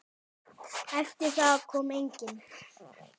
Eftir það kom enginn.